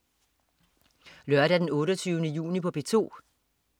Lørdag den 28. juni - P2: